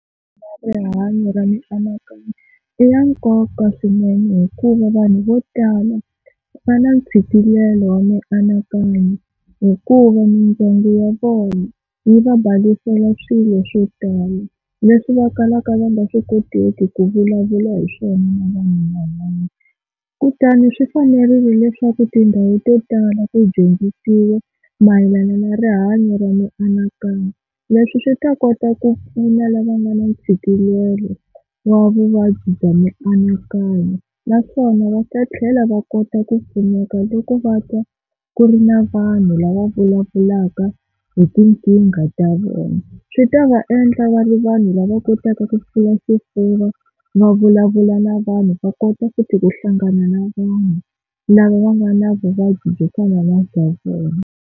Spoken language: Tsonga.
Rihanyo ra mianakanyo i ya nkoka swinene hikuva vanhu vo tala va na ntshikelelo wa mianakanyo, hikuva mindyangu ya vona yi va balasela swilo swo tala leswi va kalaka va nga swi koteki ku vulavula hi swona na vanhu van'wana. Kutani swi fanerile leswaku tindhawu to tala ku dyondzisiwa mayelana na rihanyo ra mianakanyo, leswi swi ta kota ku pfuna lava nga na tshikelela wa vuvabyi bya mianakanyo. Naswona va ta tlhela va kota ku pfuneka loko va twa ku ri na vanhu lava vulavulaka hi tinkingha ta vona. Swi ta va endla va ri vanhu lava kotaka ku pfula xifuva va vulavula na vanhu va kota ku futhi ku hlangana na vanhu lava va nga na vuvabyi byo fana na bya vona.